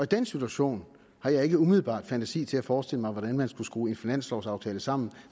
den situation har jeg ikke umiddelbart fantasi til at forestille mig hvordan man skulle skrue en finanslovaftale sammen